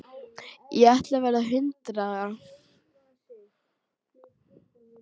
Ég ætla að verða hundrað ára.